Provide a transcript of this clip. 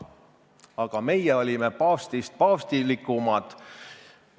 Aga meie olime paavstist paavstilikumad.